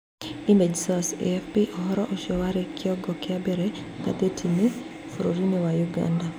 Image source, AFP ũhoro ũcio warĩ kĩongo kĩa mbere ngathĩti-inĩ ma bũrũri wa Ũganda.